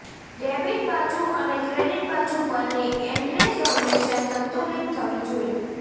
debit બાજુ અને credit બાજુ પરની એન્ટ્રીઝ હંમેશા સંતુલિત થવી જોઈએ